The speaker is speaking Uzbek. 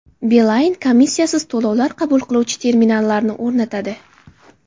Beeline komissiyasiz to‘lovlar qabul qiluvchi terminallarini o‘rnatadi.